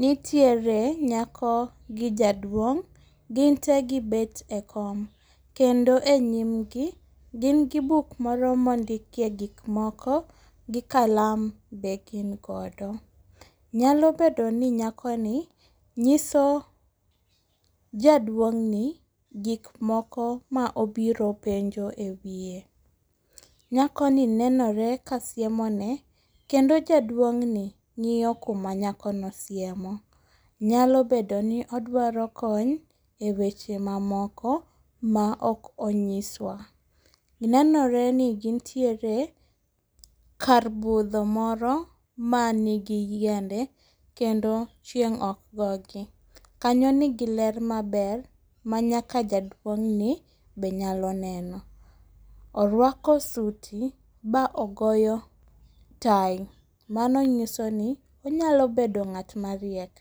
Nitiere nyako gi jaduong'. Gin te gibed e kom, kendo e nyimgi gin gi buk moro mondikie gikmoko gi kalam be gin godo. Nyalo bedoni nyakoni nyiso jaduong'ni gikmoko maobiro penjo e wie. Nyakoni nenore ka siemone kendo jaduong'ni ng'iyo kuma nyakono siemo. Nyalo bedoni odwaro kony e weche mamoko maok onyiswa. Nenoreni gintiere kar budho moro manigi yiende kendo chieng' ok gogi. Kanyo nigi ler maber ma nyaka jaduong'ni be nyalo neno. Orwako suti ba ogoyo tai, mano nyisoni onyalo bedo ng'at mariek,